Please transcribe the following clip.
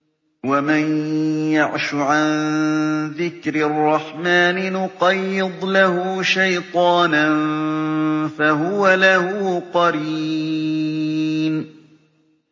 وَمَن يَعْشُ عَن ذِكْرِ الرَّحْمَٰنِ نُقَيِّضْ لَهُ شَيْطَانًا فَهُوَ لَهُ قَرِينٌ